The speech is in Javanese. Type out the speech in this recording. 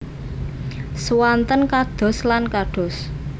Swanten kados lan kados